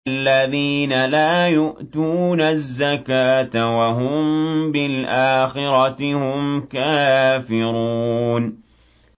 الَّذِينَ لَا يُؤْتُونَ الزَّكَاةَ وَهُم بِالْآخِرَةِ هُمْ كَافِرُونَ